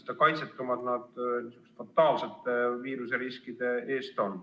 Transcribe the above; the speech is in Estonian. Nad on kaitsetud sihukeste fataalsete viiruseriskide ees.